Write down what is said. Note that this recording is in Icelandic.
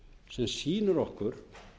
sem sýnir okkur